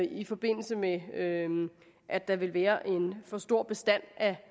i forbindelse med at der ville være en for stor bestand af